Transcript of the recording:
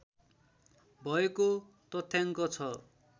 भएको तथ्याङ्क छ